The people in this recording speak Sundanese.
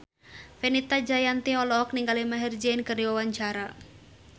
Fenita Jayanti olohok ningali Maher Zein keur diwawancara